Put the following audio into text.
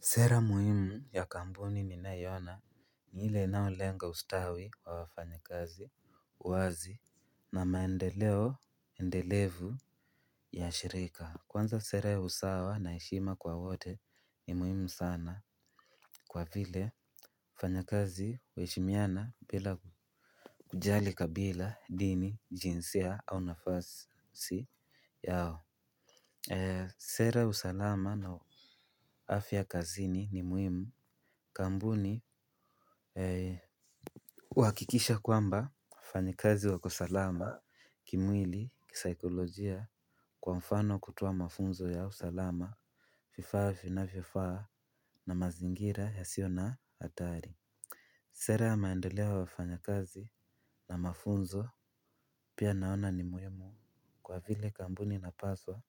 Sera muhimu ya kampuni ninayoona ni ile inayolenga ustawi wa wafanyikazi uwazi na maendeleo endelevu ya shirika. Kwanza sera ya usawa na heshima kwa wote ni muhimu sana kwa vile wafanyakazi huheshimiana bila kujali kabila dini jinsia au nafasi yao. Sera usalama na afya kazini ni muhimu. Kampuni huhakikisha kwamba wafanyakazi wako salama kimwili kisaikolojia kwa mfano kutoa mafunzo ya usalama, vifaa vinavyofaa na mazingira yasiyo na hatari. Sera ya maendeleo ya wafanyakazi na mafunzo pia naona ni muhimu. Kwa vile kampuni inapaswa